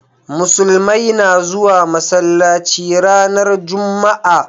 musulmai na zuwa masallaci ranar jumma'a